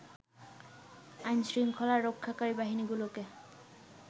আইনশৃংখলা রক্ষাকারী বাহিনীগুলোকে